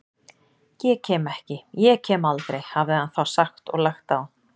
Ég kem ekki, ég kem aldrei, hafði hann þá sagt og lagt á.